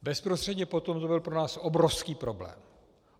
Bezprostředně potom to byl pro nás obrovský problém.